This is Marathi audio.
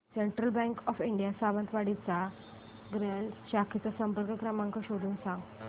central bank of India Sawantwadi च्या शाखेचा संपर्क क्रमांक शोधून सांग